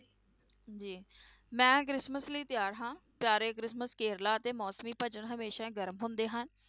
ਜੀ ਮੈਂ ਕ੍ਰਿਸਮਸ ਲਈ ਤਿਆਰ ਹਾਂ ਪਿਆਰੇ ਕ੍ਰਿਸਮਸ ਕੇਰਲਾ ਅਤੇ ਮੌਸਮੀ ਹਮੇਸ਼ਾ ਹੀ ਗਰਮ ਹੁੰਦੇ ਹਨ।